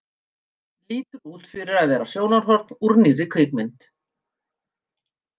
Lítur út fyrir að vera sýnishorn úr nýrri kvikmynd.